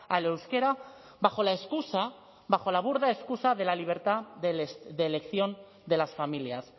al euskera bajo la excusa bajo la burda excusa de la libertad de elección de las familias